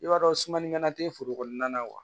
I b'a dɔn sumalikɛla tɛ foro kɔnɔna na wa